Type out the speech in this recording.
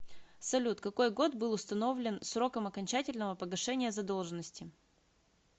салют какой год был установлен сроком окончательного погашения задолженности